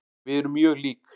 Við erum mjög lík.